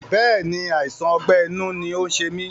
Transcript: Bẹ́ẹ̀ni, àìsàn ọgbẹ́ inú ni ó ń ṣe mí